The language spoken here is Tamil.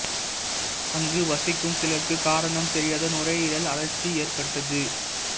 அங்கு வசிக்கும் சிலருக்கு காரணம் தெரியாத நுரையீரல் அழற்சி ஏற்பட்டது